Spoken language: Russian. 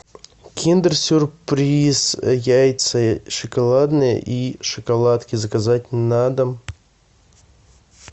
киндер сюрприз яйца шоколадные и шоколадки заказать на дом